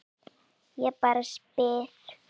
Ég bara spyr